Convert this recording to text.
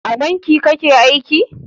A banki kake aiki?